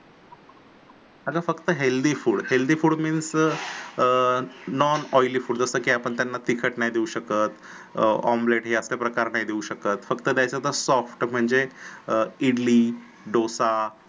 अगं फक्त healthy food healthy food म्हणजे अं non oily food जस की आपण त्यांना तिखट नाही देऊ शकत अं omelette हे असले प्रकार नाही देऊ शकत फकत तच्यात soft म्हणजे इडली डोसा